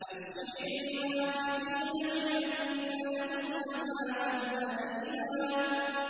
بَشِّرِ الْمُنَافِقِينَ بِأَنَّ لَهُمْ عَذَابًا أَلِيمًا